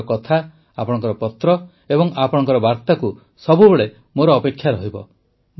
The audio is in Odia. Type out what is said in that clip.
ଆପଣଙ୍କର କଥା ଆପଣଙ୍କର ପତ୍ର ଏବଂ ଆପଣମାନଙ୍କର ବାର୍ତ୍ତାକୁ ସବୁବେଳେ ମୋର ଅପେକ୍ଷା ରହିବ